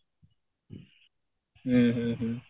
ହୁଁ ହୁଁ ହୁଁ